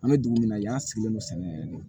An bɛ dugu min na yan sigilen don sɛnɛ